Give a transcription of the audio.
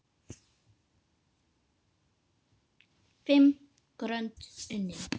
Fimm grönd unnin!